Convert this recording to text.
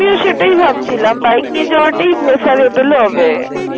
সেটােই ভাবছিল বাইক নিয়ে যাওয়া হবে।